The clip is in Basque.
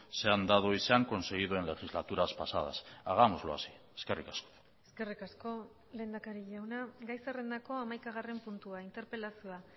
se han dado y se han conseguido en legislaturas pasadas hagámoslo así eskerrik asko eskerrik asko lehendakari jauna gai zerrendako hamaikagarren puntua interpelazioa